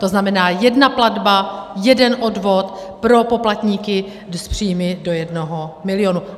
To znamená, jedna platba, jeden odvod pro poplatníky s příjmy do jednoho milionu.